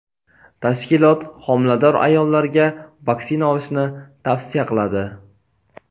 tashkilot homilador ayollarga vaksina olishni tavsiya qiladi.